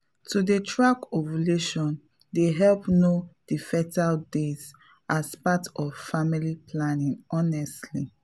to dey track ovulation dey help know the fertile days as part of family planning honestly.